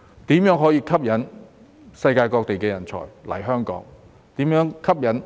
因此，如何吸引世界各地的人才來港，以及如何吸引